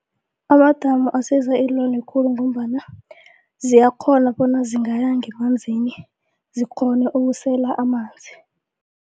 Amadamu asiza iinlwane khulu ngombana ziyakghona bona zingaya ngemanzini zikghone ukusela amanzi.